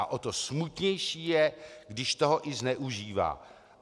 A o to smutnější je, když toho i zneužívá.